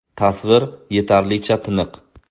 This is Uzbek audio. Tasvir yetarlicha tiniq.